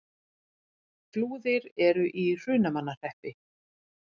Flúðir er í Hrunamannahreppi.